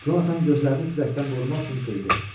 Conatan gözlərini küləkdən qorumaq üçün qıydı.